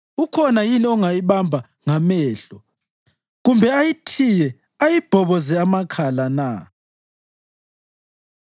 Ukhona yini ongayibamba ngamehlo, kumbe ayithiye ayibhoboze amakhala na?”